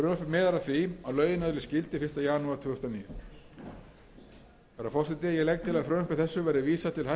því að lögin öðlist gildi fyrsta janúar tvö þúsund og níu herra forseti ég legg til að frumvarpi þessu verði vísað til háttvirtrar efnahags og